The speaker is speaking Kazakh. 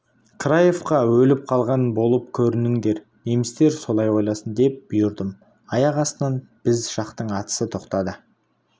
краевқа өліп қалған болып көрініңдер немістер солай ойласын деп бұйырдым аяқ астынан біз жақтың атысы тоқтады